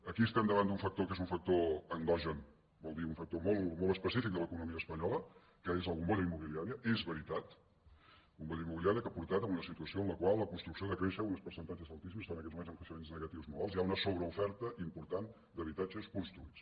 aquí estem davant d’un factor que és un factor endogen vol dir un factor molt específic de l’economia espanyola que és la bombolla immobili·ària és veritat bombolla immobiliària que ha portat a una situació en la qual la construcció ha de créixer uns percentatges altíssims està en aquests moments en creixements negatius molt alts hi ha sobreoferta important d’habitatges construïts